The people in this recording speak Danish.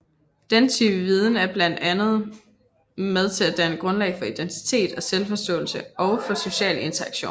Denne type viden er blandt andet med til at danne grundlag for identitet og selvforståelse og for social interaktion